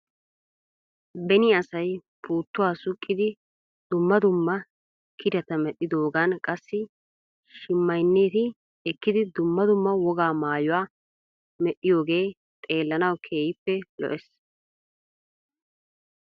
Beni asay puuttuwaa suqqidi dumma dumma kireta medhdhidoogan qassi shimaynneti ekkidi dumma dumma wogaa maayuwaa medhdhiyoogee xeellanaw keehippe lo'es .